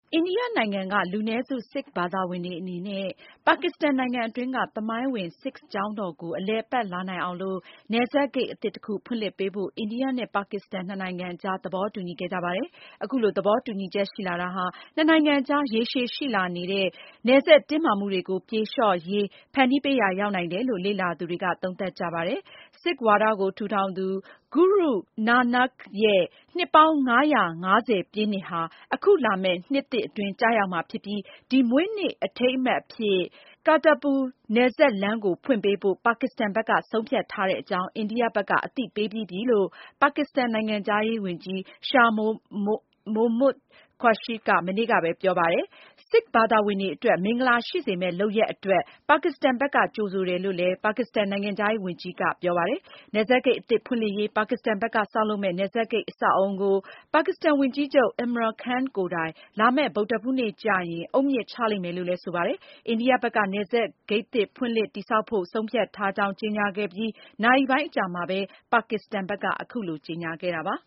အိန္ဒိယနိုင်ငံက လူနည်းစု Sikh ဘာသာဝင်တွေအနေနဲ့ ပါကစ္စတန်နိုင်ငံအတွင်းက သမိုင်းဝင် Sikh ကျောင်းတော်ကို အလည်အပတ်လာနိုင်အောင်လို့ နယ်စပ်ဂိတ်အသစ်တခု ဖွင့်လှစ်ပေးဖို့ အိန္ဒိယနဲ့ ပါကစ္စတန် ၂နိုင်ငံအကြားသဘောတူညီ ခဲ့ကြပါတယ်။ အခုလိုသဘောတူညီချက်ရှိလာတာဟာ ၂နိုင်ငံအကြားရေရှေရှိလာနေ နယ်စပ်တင်းမာမှုတွေကိုပြေလျှော့ ရေး ဖန်တီးပေးရာရောက်နိုင်တယ်လို့ လေ့လာသူတွေက သုံးသပ်ကြပါတယ်။ Sikh ဝါဒ ကိုထူထောင်သူ Guru Nanak ရဲ့ နှစ်ပေါင်းင ါးရာ့ငါးဆယ်ပြည့်နှစ်ဟာ အခုလာမယ့်နှစ်သစ်အတွင်းကျရောက်မှာဖြစ်ပြီး ဒီမွေးနေ့အထိမ်းအမှတ်အဖြစ် Kartarpur နယ်စပ်လမ်းကိုဖွင့်ပေးဖို့ ပါကစ္စတန်ဘက်ကဆုံးဖြတ်ထားတဲ့အကြောင်း အိန္ဒိယ ဘက်က အသိပေးပြီးပြီလို့ ပါကစ္စတန်နိုင်ငံခြားရေးဝန်ကြီး Shah Mehmood Qureshi က မနေ့ကပဲ ပြောပါတယ်။ Sikh ဘာသာဝင်တွေအတွက် မင်္ဂလာရှိ စေမယ့်လုပ်ရပ်အတွက် ပါကစ္စတန်ဘက်ကကြိုဆိုတယ်လို့လည်း ပါကစ္စတန်နိုင်ငံခြားရေးဝန်ကြီး ကပြောပါ တယ်။ နယ်စပ်ဂိတ်အသစ်ဖွင့်လှစ်ရေး ပါကစ္စတန်ဘက်က ဆောက်လုပ်မယ့် နယ်စပ်ဂိတ်အဆောက်အဦးကို ပါကစ္စ တန်ဝန်ကြီးချုပ် Imran Khanကိုယ်တိုင် လာမယ့်ဗုဒ္ဓဟူးနေ့ကျရင် အုတ်မြစ်ချလိမ့်မယ်လို့လည်းဆိုပါတယ်။ အိန္ဒိယ ဘက်က နယ်စပ် ဂိတ်သစ်ဖွင့်လှစ်တည်ဆောက်ဖို့ဆုံးဖြတ်ထားကြောင်းကြေညာခဲ့ပြီးနာရီပိုင်းအကြာမှာပဲ ပါကစ္စတန် ဘက်က အခုလိုကြေ ညာခဲ့တာပါ